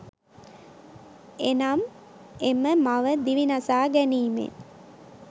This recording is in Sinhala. එනම් එම මව දිවි නසා ගැනීමෙන්